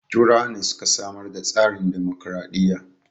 Turawa ne suka samar da tsarin dimokraɗiya